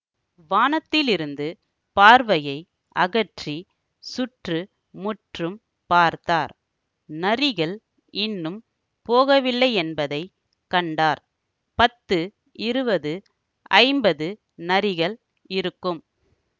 வானத்திலிருந்து பார்வையை அகற்றிச் சுற்று முற்றும் பார்த்தார் நரிகள் இன்னும் போகவில்லையென்பதைக் கண்டார் பத்து இருவது ஐம்பது நரிகள் இருக்கும்